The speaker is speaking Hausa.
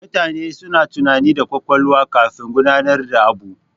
Mutane suna tunani da ƙwaƙwalwa kafin gudanar da abu.